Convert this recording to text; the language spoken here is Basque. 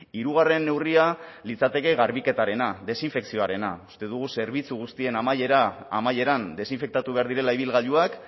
hirugarren neurria litzateke garbiketarena desinfekzioarena uste dugu zerbitzu guztien amaieran desinfektatu behar direla ibilgailuak